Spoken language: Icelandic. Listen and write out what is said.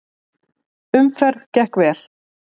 Umferð gekk vel.